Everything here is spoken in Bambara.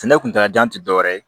Sɛnɛ kuntala jan tɛ dɔwɛrɛ ye